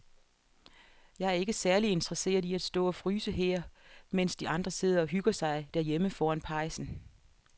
Jeg er ikke særlig interesseret i at stå og fryse her, mens de andre sidder og hygger sig derhjemme foran pejsen.